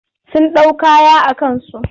Sun ɗau kaya a kansu.